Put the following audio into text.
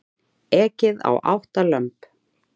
Ekið á átta lömb